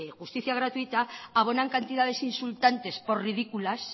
justicia gratuita abonan cantidades insultantes por ridículas